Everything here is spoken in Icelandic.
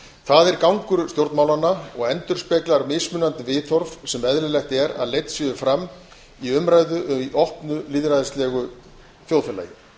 það er gangur stjórnmálanna og endurspeglar mismunandi viðhorf sem eðlilegt er að leidd séu fram í umræðu í opnu lýðræðislegu þjóðfélagi